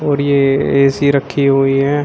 और ये ए_सी रखी हुई है।